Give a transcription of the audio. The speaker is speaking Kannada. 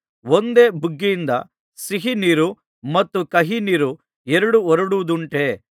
ಒಂದೇ ಬುಗ್ಗೆಯಿಂದ ಸಿಹಿ ನೀರು ಮತ್ತು ಕಹಿ ನೀರು ಎರಡು ಹೊರಡುವುದುಂಟೇ